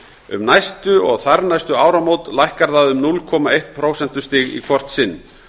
um næstu og þarnæstu áramót lækkar það um núll komma eitt prósentustig í hvort sinn